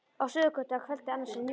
Á Suðurgötu að kvöldi annars í nýári.